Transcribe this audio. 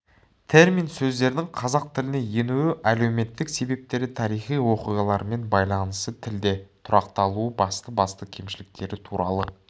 термин сөздердің қазақ тіліне енуі әлеуметтік себептері тарихи оқиғаларымен байланысы тілде тұрақталуы басты-басты кемшіліктері туралы